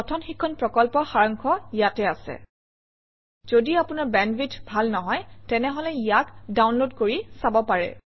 কথন শিক্ষণ প্ৰকল্পৰ সাৰাংশ ইয়াত আছে যদি আপোনাৰ বেণ্ডৱিডথ ভাল নহয় তেনেহলে ইয়াক ডাউনলোড কৰি চাব পাৰে